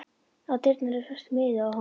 Á dyrnar var festur miði og á honum stóð